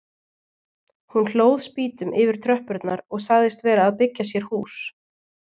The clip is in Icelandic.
Hún hlóð spýtum yfir tröppurnar og sagðist vera að byggja sér hús.